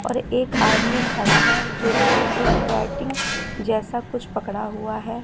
और एक आदमी खड़ा है जो कि एक बैटिंग जैसा कुछ पकड़ा हुआ है।